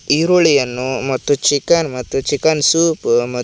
ಈರುಳ್ಳಿಯನ್ನು ಮತ್ತು ಚಿಕನ್ ಮತ್ತು ಚಿಕನ್ ಸೂಪು ಮ--